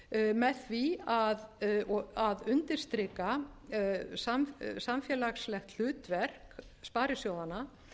líka verið að treysta byggðafestu með því að undirstrika samfélagslegt hlutverk sparisjóðanna